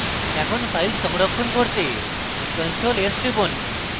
এখন file সংরক্ষণ করতে ctrl + s টিপুন